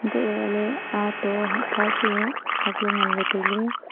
hantolahley aato hahpha chu ak nganla tailey.